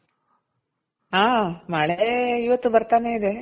ಹಾ ಮಳೆ ಇವತ್ತು ಬರ್ತಾನೆ ಇದೆ.